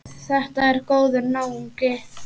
Þetta er góður náungi.